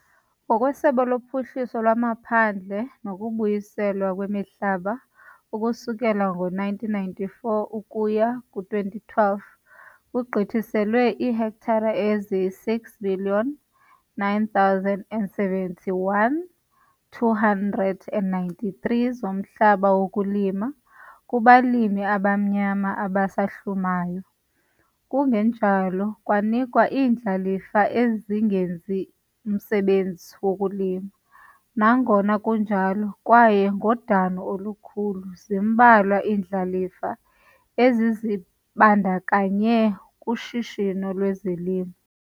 NgokweSebe loPhuhliso lwaMaphandle nokuBuyiselwa kweMihlaba ukususela ngo-1994 ukuya ku-2012 kugqithiselwe iihektare eziyi-6,971,293 zomhlaba wokulima kubalimi abamnyama abasahlumayo, kungenjalo kwanikwa iindlalifa ezingenzi msebenzi wokulima, nangona kunjalo kwaye ngodano olukhulu zimbalwa iindlalifa ezizibandakanye kushishino lwezolimo.